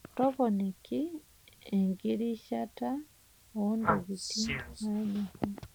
Toponiki enkirishata oo ntokitin naanyori.